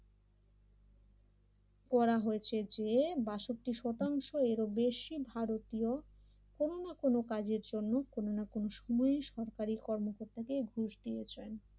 করা হয়েছে যে বাষট্টি শতাংশ এরও বেশি ভারতীয় কোন না কোন কাজের জন্য কোন না কোন সময় সরকারি কর্মকর্তাকে ঘুষ দিয়েছে।